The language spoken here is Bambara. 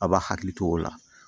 A b'a hakili to o la